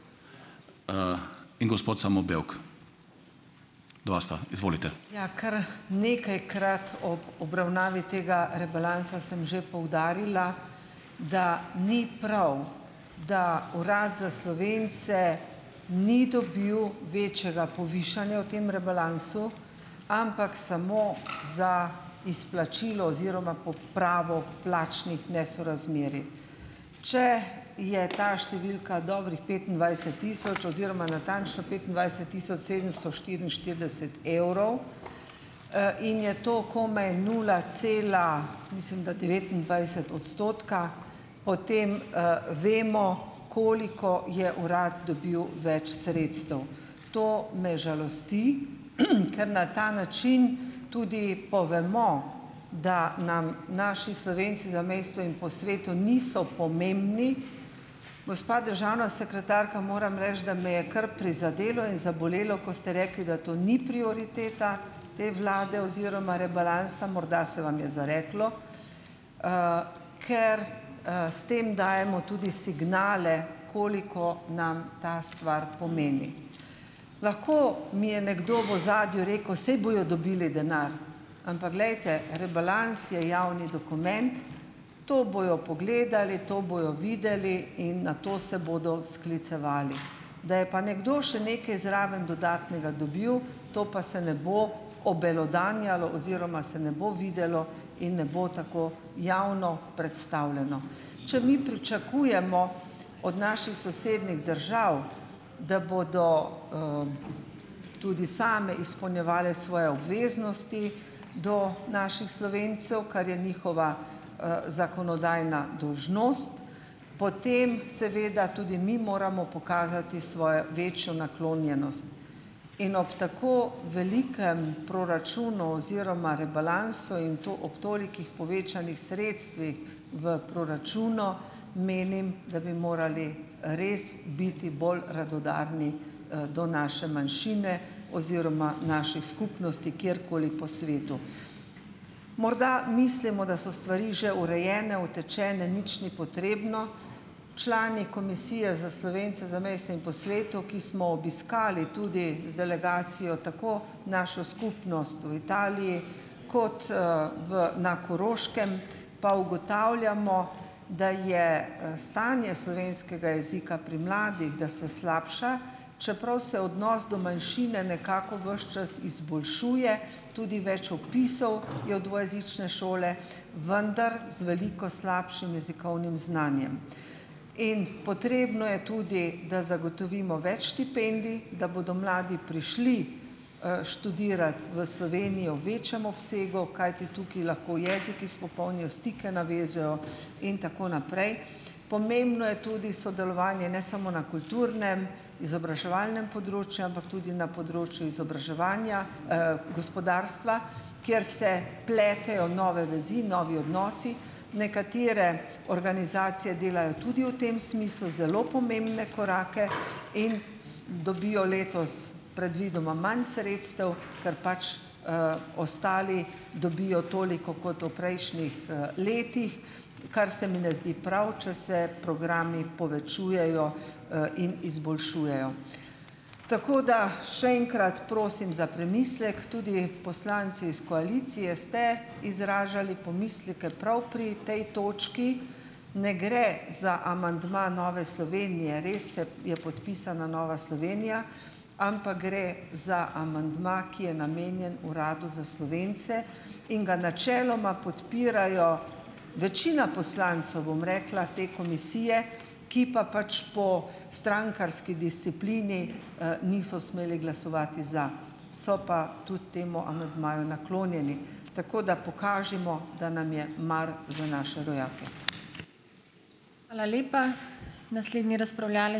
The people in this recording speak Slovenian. Ja, kar nekajkrat ob obravnavi tega rebalansa sem že poudarila, da ni prav, da Urad za Slovence ni dobil večjega povišanja v tem rebalansu, ampak samo za izplačilo oziroma popravo plačnih nesorazmerij. Če je ta številka dobrih petindvajset tisoč oziroma natančno petindvajset tisoč sedemsto štiriinštirideset evrov, in je to komaj nula cela mislim da devetindvajset odstotka, potem, vemo, koliko je uradno dobil več sredstev. To me žalosti, ker na ta način tudi povemo, da nam naši Slovenci v zamejstvu in po svetu niso pomembni. Gospa državna sekretarka, moram reči, da me je kar prizadelo in zabolelo, ko ste rekli, da to ni prioriteta te vlade oziroma rebalansa. Morda se vam je zareklo, ker, s tem dajemo tudi signale, koliko nam ta stvar pomeni. Lahko mi je nekdo v ozadju rekel: "Saj bojo dobili denar." Ampak glejte, rebalans je javni dokument, to bojo pogledali, to bojo videli in na to se bodo sklicevali. Da je pa nekdo še nekaj zraven dodatnega dobil, to pa se ne bo obelodanjalo oziroma se ne bo videlo in ne bo tako javno predstavljeno. Če mi pričakujemo od naših sosednjih držav, da bodo, tudi same izpolnjevale svoje obveznosti do naših Slovencev, kar je njihova, zakonodajna dolžnost, potem seveda tudi mi moramo pokazati svojo večjo naklonjenost in ob tako velikem proračunu oziroma rebalansu in to ob tolikih povečanih sredstvih v proračunu menim, da bi morali res biti bolj radodarni, do naše manjšine oziroma naših skupnosti kjerkoli po svetu. Morda mislimo, da so stvari že urejene, utečene, nič ni potrebno. Člani komisije za Slovence v zamejstvu in po svetu, ki smo obiskali tudi z delegacijo tako našo skupnost v Italiji, kot, v na Koroškem, pa ugotavljamo, da je, stanje slovenskega jezika pri mladih, da se slabša, čeprav se odnos do manjšine nekako ves čas izboljšuje, tudi več opisov je v dvojezične šole, vendar z veliko slabšim jezikovnim znanjem. In potrebno je tudi, da zagotovimo več štipendij, da bodo mladi prišli, študirat v Slovenijo v večjem obsegu, kajti tukaj lahko jezik izpopolnijo, stike navežejo in tako naprej. Pomembno je tudi sodelovanje ne samo na kulturnem, izobraževalnem področju, ampak tudi na področju izobraževanja, gospodarstva, kjer se pletejo nove vezi, novi odnosi. Nekatere organizacije delajo tudi v tem smislu zelo pomembne korake in s dobijo letos predvidoma imam sredstev, kar pač, ostali dobijo toliko kot v prejšnjih, letih, kar se mi ne zdi prav, če se programi povečujejo, in izboljšujejo. Tako da še enkrat prosim za premislek, tudi poslanci iz koalicije ste izražali pomisleke prav pri tej točki. Ne gre za amandma Nove Slovenije. Res se je podpisana Nova Slovenija, ampak gre za amandma, ki je namenjen Uradu za Slovence, in ga načeloma podpirajo večina poslancev, bom rekla, te komisije, ki pa pač po strankarski disciplini, niso smeli glasovati za, so pa tudi temu amandmaju naklonjeni. Tako da pokažimo, da nam je mar za naše rojake.